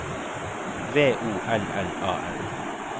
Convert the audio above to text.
V O L L A N